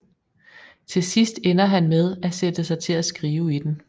Til sidst ender han med at sætte sig til at skrive i den